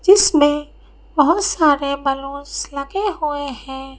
जिसमें बहुत सारे बैलून्स लगे हुए हैं।